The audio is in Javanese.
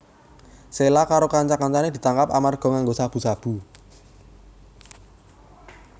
Sheila karo kanca kancané ditangkap amarga nganggo sabu sabu